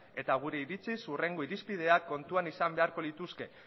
eta gure iritziz hurrengo irizpidea kontuan izan beharko lituzke